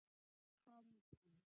Komdu